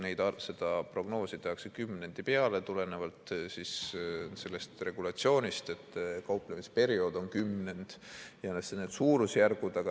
Seda prognoosi tehakse kümnendi peale, tulenevalt sellest regulatsioonist, et kauplemisperiood on kümnend.